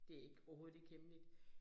Det ikke overhovedet ikke hemmeligt